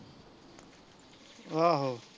ਆਹੋ